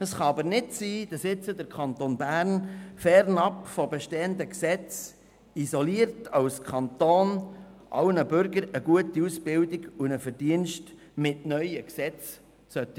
Es kann aber nicht sein, dass der Kanton Bern nun fernab von bestehenden Gesetzen, isoliert als Kanton, mit neuen Gesetzen allen Bürgern eine gute Ausbildung und einen Verdienst garantieren sollte.